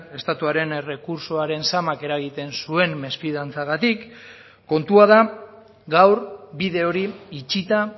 estatuaren errekurtsoaren zamak eragiten zuen mesfidantzagatik kontua da gaur bide hori itxita